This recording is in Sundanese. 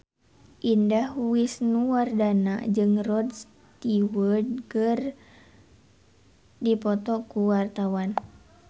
Indah Wisnuwardana jeung Rod Stewart keur dipoto ku wartawan